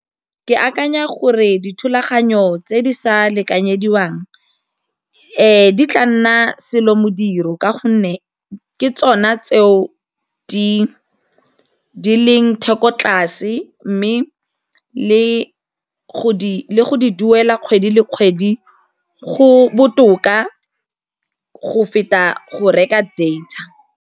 Ke akanya gore dithulaganyo tse di sa lekanyediwang di tla nna selomodiro ka gonne ke tsona tseo di e leng thoko tlase mme le go di duela kgwedi le kgwedi go botoka go feta go reka data.